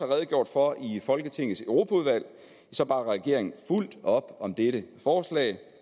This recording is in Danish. redegjort for i folketingets europaudvalg bakker regeringen fuldt ud op om dette forslag